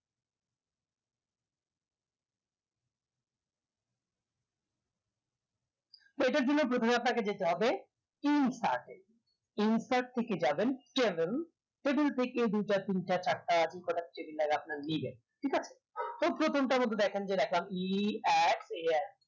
এটার জন্য প্রথমে আমাদের যেতে হবে insert এ insert থেকে যাবেন tabletable থেকে দুটা তিনটা চারটা আপনি কোটা table আপনার নিবেন ঠিক আছে তো প্রথমটা দেখেন যেরকম এ আর